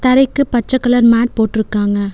தரைக்கு பச்ச colour mat போட்ருக்காங்க.